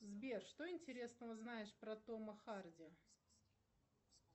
сбер что интересного знаешь про тома харди